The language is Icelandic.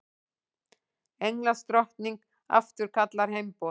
Englandsdrottning afturkallar heimboð